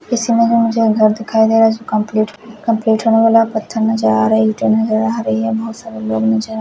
इस इमेज में मुझे एक घर दिखाई दे रहा हे इटे नजर आ रही है यहाँ बहोत सारे लोग नजर आ रहे है।